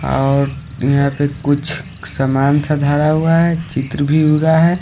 और यहां पे कुछ समान सा धारा हुआ है चित्र भी हुआ है।